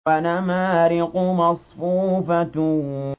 وَنَمَارِقُ مَصْفُوفَةٌ